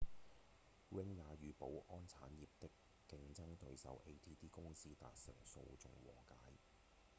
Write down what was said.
ring 也與保安產業的競爭對手 adt 公司達成訴訟和解